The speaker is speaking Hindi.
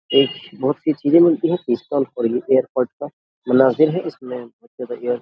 एक बहोत सी चीजें मिलती हैं इसमे --